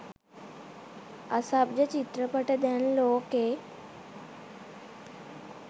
අසභ්‍ය චිත්‍රපට දැන් ලෝකෙ